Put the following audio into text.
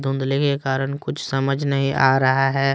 धुंधले के कारण कुछ समझ नहीं आ रहा है।